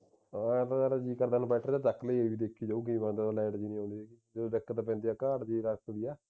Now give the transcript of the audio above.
ਹਾ ਇੰਨਾ ਤਾਂ inverter ਤਾਂ ਚੱਕ ਲਈ ਰਹਿ ਦੇਖੀ ਜਾਊਗੀ ਕੀ ਬਣਦਾ ਜਦੋਂ light ਨਹੀਂ ਆਊਗੀ ਕੀ ਦਿੱਕਤ ਪੈਂਦੀ ਹੈ ਕਾਠ ਦੀ ਰਸਤ ਦੀ ਏ